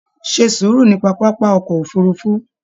Ṣe sùúrù nínú pápá ọkọ òfurùnfu!